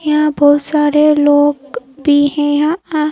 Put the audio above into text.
यहां बहुत सारे लोग भी हैं यहां--